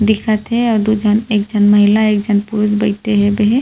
दिखत हे दो झन एक झन महिला एक झन पुरुष बइठे हबे हे।